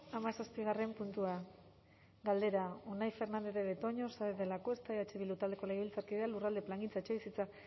hamazazigarren puntua galdera unai fernandez de betoño saenz de lacuesta eh bildu taldeko legebiltzarkideak lurralde plangintza etxebizitza